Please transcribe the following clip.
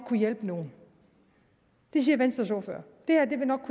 kunne hjælpe nogle det siger venstres ordfører det her vil nok